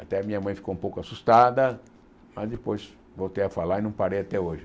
Até minha mãe ficou um pouco assustada, mas depois voltei a falar e não parei até hoje.